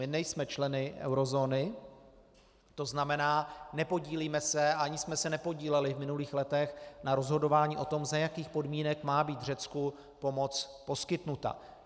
My nejsme členy eurozóny, to znamená nepodílíme se a ani jsme se nepodíleli v minulých letech na rozhodování o tom, za jakých podmínek má být Řecku pomoc poskytnuta.